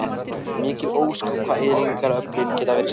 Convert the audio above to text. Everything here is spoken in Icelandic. Mikil ósköp hvað eyðileggingaröflin geta verið sterk.